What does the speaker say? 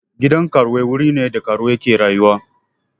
Gidan karuwai wuri ne da karuwai ke rayuwa.